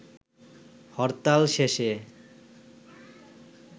হরতাল শেষে